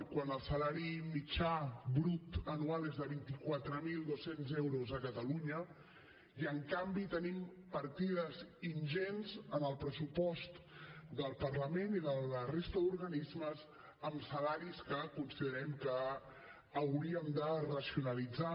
quan el salari mitjà brut anual és de vint quatre mil dos cents euros a catalunya i en canvi tenim partides ingents en el pressupost del parlament i de la resta d’organismes amb salaris que considerem que hauríem de racionalitzar